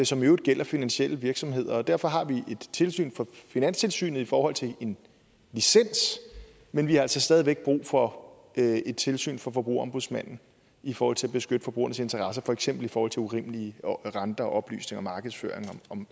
som i øvrigt gælder finansielle virksomheder og derfor har vi et tilsyn finanstilsynet i forhold til en licens men vi har altså stadig væk brug for et et tilsyn forbrugerombudsmanden i forhold til at beskytte forbrugernes interesser for eksempel i forhold til urimelige renter og oplysninger og markedsføring